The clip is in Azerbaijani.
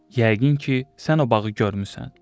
Yəqin ki, sən o bağı görmüsən.